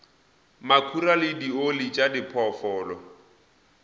makhura le dioli tša diphoofolo